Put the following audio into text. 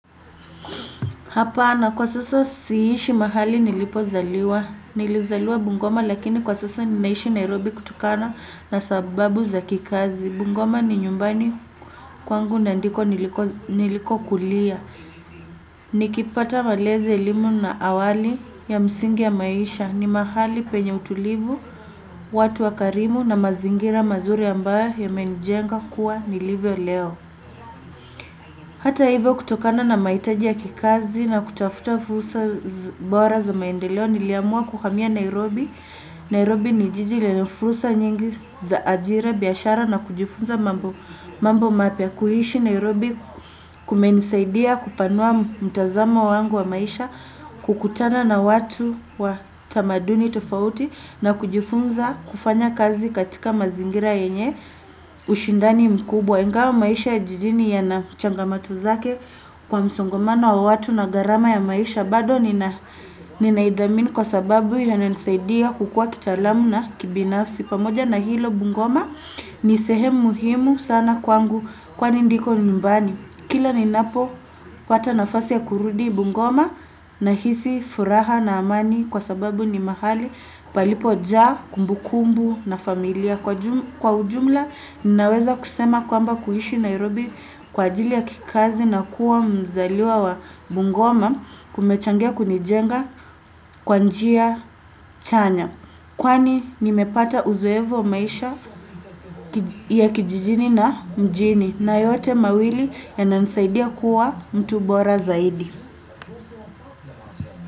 Hapana kwa sasa siishi mahali nilipozaliwa. Nilizaliwa Bungoma lakini kwa sasa ninaishi Nairobi kutokana na sababu za kikazi. Bungoma ni nyumbani kwangu na ndiko nilikokulia. Nikipata malezi, elimu na awali ya msingi ya maisha. Ni mahali penye utulivu, watu wakarimu na mazingira mazuri ambayo yamenijenga kuwa nilivyo leo. Hata hivyo, kutokana na mahitaji ya kikazi na kutafuta fursa bora za maendeleo niliamua kuhamia Nairobi. Nairobi ni jiji lenye fursa nyingi za ajira, biashara na kujifunza mambo mapya kuishi Nairobi kumenisaidia kupanua mtazamo wangu wa maisha kukutana na watu wa tamaduni tofauti na kujifunza kufanya kazi katika mazingira yenye ushindani mkubwa. Ingawa maisha ya jijini yana changamoto zake kwa msongomano wa watu na gharama ya maisha. Bado ninaithamini kwa sababu yananisaidia kukuwa kitaalamu na kibinafsi. Pamoja na hilo, bungoma ni sehemu muhimu sana kwangu kwani ndiko nyumbani. Kila ninapopata nafasi ya kurudi Bungoma, nahisi furaha na amani kwa sababu ni mahali palipojaa kumbukumbu na familia. Kwa kwa ujumla, ninaweza kusema kwamba kuishi Nairobi kwa ajili ya kikazi na kuwa mzaliwa wa Bungoma kumechangia kunijenga kwa njia chanya. Kwani nimepata uzoevu wa maisha ya kijijini na mjini na yote mawili yananisaidia kuwa mtu bora zaidi.